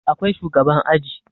Akwai shugaban aji